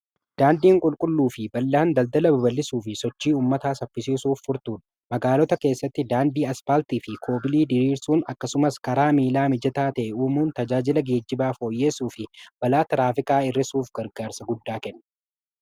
daandiin qulqulluu fi bal'aan daldala baballisuu fi sochii ummataa safpisiisuuf furtuudha magaalota keessatti daandii aspaartii fi koobilii diriirsuun akkasumas karaa miilaa mijataa ta'e uumuun tajaajila geejjibaafhooyyeessuu fi balaa taraafikaa irrisuuf gargaarsa guddaa kenne